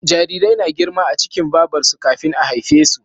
Jarirai na girma a cikin Babar su kafin a haife su